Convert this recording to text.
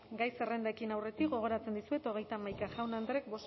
gai zerrendari ekin aurretik gogoratzen dizuet hogeita hamaika jaun andreek